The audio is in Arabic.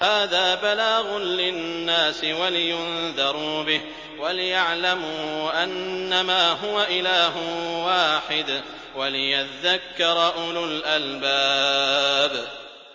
هَٰذَا بَلَاغٌ لِّلنَّاسِ وَلِيُنذَرُوا بِهِ وَلِيَعْلَمُوا أَنَّمَا هُوَ إِلَٰهٌ وَاحِدٌ وَلِيَذَّكَّرَ أُولُو الْأَلْبَابِ